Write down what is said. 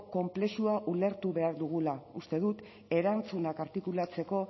konplexua ulertu behar dugula uste dut erantzunak artikulatzeko